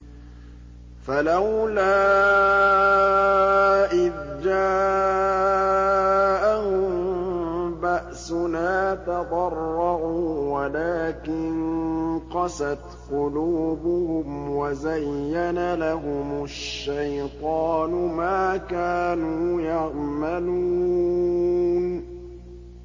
فَلَوْلَا إِذْ جَاءَهُم بَأْسُنَا تَضَرَّعُوا وَلَٰكِن قَسَتْ قُلُوبُهُمْ وَزَيَّنَ لَهُمُ الشَّيْطَانُ مَا كَانُوا يَعْمَلُونَ